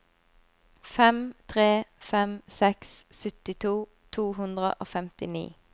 fem tre fem seks syttito to hundre og femtini